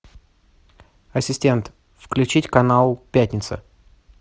ассистент включить канал пятница